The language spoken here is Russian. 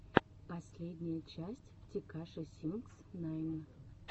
последняя часть текаши сикс найн